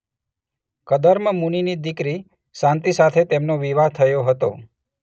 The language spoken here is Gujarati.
કર્દમ મુનિની દીકરી શાંતિ સાથે તેમનો વિવાહ થયો હતો.